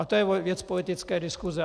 Ale to je věc politické diskuse.